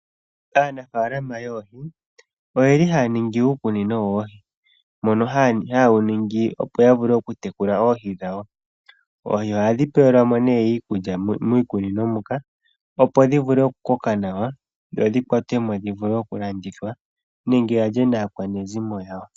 Aanafalama yoohi oyeli ha ya ningi uukunino woohi, mpono haawu ningi opo ya vule oku tekula oohi dhawo. Oohi ohadhi pewelwamo nee iikulya miikunino muka, opo dhi vule oku koka nawa, dho dhi kwatwemo dhi vule oku landithwa nenge ya lye naakwanezimo yawo.